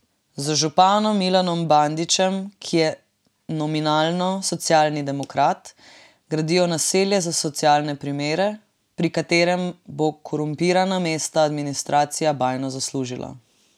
Z županom Milanom Bandićem, ki je nominalno socialni demokrat, gradijo naselje za socialne primere, pri katerem bo korumpirana mestna administracija bajno zaslužila.